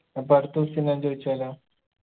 അപ്പൊ അടുത്ത question ഞാൻ ചോയിച്ചോലോ